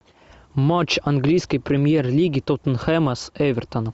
матч английской премьер лиги тоттенхэма с эвертоном